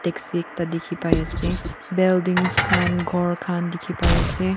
taxi ekta dikhi pai ase buildings khan ghor khan dikhi pai ase.